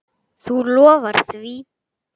Þú lofar því?